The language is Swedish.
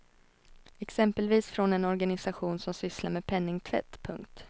Exempelvis från en organisation som sysslar med penningtvätt. punkt